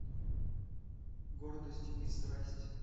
гордость и страсть